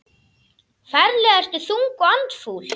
Ferlega ertu þung og andfúl.